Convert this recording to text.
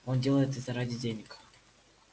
он делает это ради денег